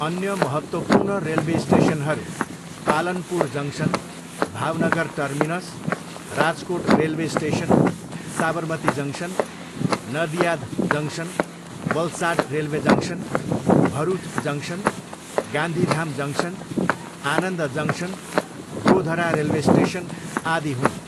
अन्य महत्त्वपूर्ण रेलवे स्टेसनहरू, Palanpur junction, Bhavnagar terminus, Rajkot railway station, Sabarmati junction, Nadiad junction, Valsad railway junction, Bharuch junction, Gandhidham junction, Anand junction, Godhra railway station, आदि हुन्।